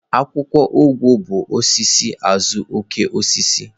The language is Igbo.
Akwụkwọ ọgwụ bụ osisi azuokokoosisi.